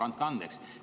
Andke andeks!